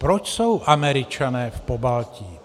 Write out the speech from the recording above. Proč jsou Američané v Pobaltí?